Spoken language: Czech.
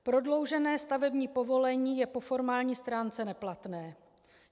Prodloužené stavební povolení je po formální stránce neplatné.